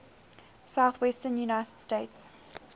southwestern united states